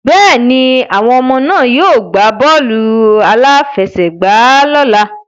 Bẹ́ẹ̀ni, àwọn ọmọ náà yóò gbá bọ́ọ̀lù-aláfẹ́sẹ̀gbà lọ́ la.